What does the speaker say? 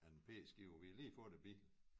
En p-skive vi havde lige fået æ bil